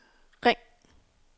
ring